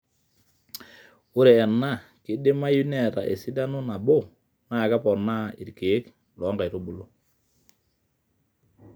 ore ena keidimayu neeta esidano nabo naa kepoonaa iirkeek loo nkaitubulu